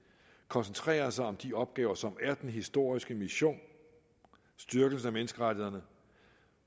koncentrerer sig om de opgaver som er den historiske mission styrkelsen af menneskerettighederne